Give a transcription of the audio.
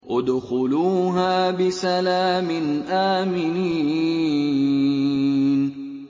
ادْخُلُوهَا بِسَلَامٍ آمِنِينَ